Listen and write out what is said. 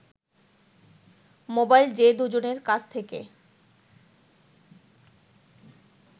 mobile যে দু’জনের কাছ থেকে